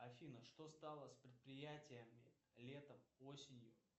афина что стало с предприятиями летом осенью